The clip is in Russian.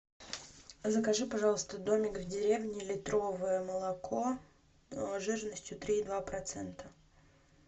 закажи пожалуйста домик в деревне литровое молоко жирностью три и два процента